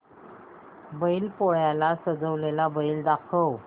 बैल पोळ्याला सजवलेला बैल दाखव